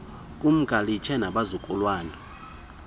kumka lishiye nabazukulwana